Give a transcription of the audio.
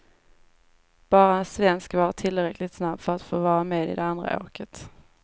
Bara en svensk var tillräckligt snabb för att få vara med i det andra åket.